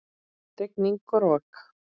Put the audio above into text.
Rigning og rok!